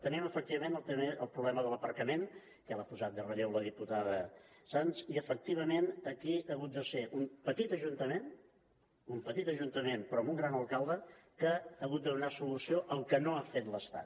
tenim efectivament també el problema de l’aparcament que l’ha posat en relleu la diputada sans i efectivament aquí ha hagut de ser un petit ajuntament un petit ajuntament però amb un gran alcalde el que ha hagut de donar solució al que no ha fet l’estat